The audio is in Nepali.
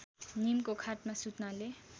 नीमको खाटमा सुत्नाले